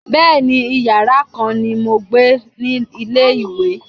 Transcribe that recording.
Bẹẹni, Ìyàrá kan ni mo gbà ní ilé-ìwé.